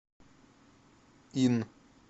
ин